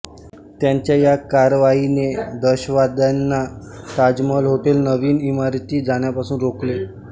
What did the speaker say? त्यांच्या या कारवाईने दहशतवाद्यांना ताजमहाल हॉटेल नवीन इमारतीत जाण्यापासून रोखले